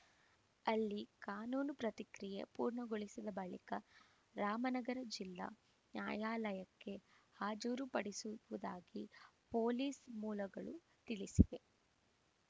ಅಲ್ಲಿ ಕಾನೂನು ಪ್ರತಿಕ್ರಿಯೆ ಪೂರ್ಣಗೊಳಿಸಿದ ಬಳಿಕ ರಾಮನಗರ ಜಿಲ್ಲಾ ನ್ಯಾಯಾಲಯಕ್ಕೆ ಹಾಜುರು ಪಡಿಸುವುದಾಗಿ ಪೊಲೀಸ್‌ ಮೂಲಗಳು ತಿಳಿಸಿವೆ